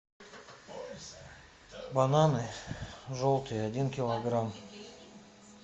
бананы желтые один килограмм